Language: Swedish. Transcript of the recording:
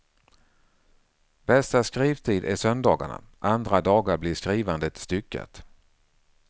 Bästa skrivtid är söndagarna, andra dagar blir skrivandet styckat.